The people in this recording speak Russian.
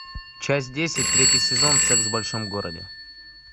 часть десять третий сезон секс в большом городе